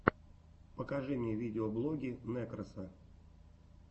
покажи мне видеоблоги некроса